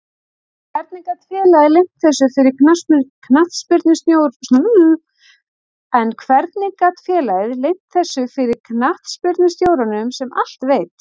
En hvernig gat félagið leynt þessu fyrir knattspyrnustjóranum sem allt veit?